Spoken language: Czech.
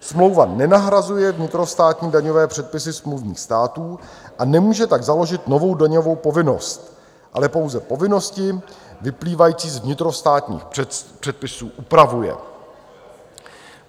Smlouva nenahrazuje vnitrostátní daňové předpisy smluvních států a nemůže tak založit novou daňovou povinnost, ale pouze povinnosti vyplývající z vnitrostátních předpisů upravuje.